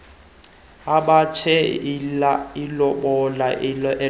amoshe ilobola elobola